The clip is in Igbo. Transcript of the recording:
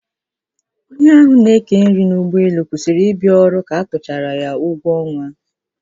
Onye ahụ n'eke nri n'ụgbọelu kwụsịrị ịbịa ọrụ ka a kwụchara ya ụgwọ ọnwa ya.